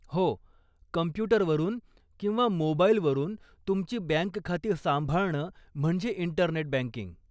हो, कम्प्युटरवरून किंवा मोबाइलवरून तुमची बँक खाती सांभाळणं म्हणजे इंटरनेट बँकिंग.